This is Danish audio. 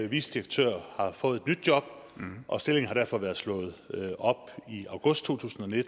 vicedirektør har fået et ny job og stillingen har derfor være slået op i august to tusind og ni